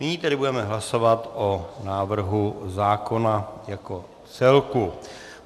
Nyní tedy budeme hlasovat o návrhu zákona jako celku.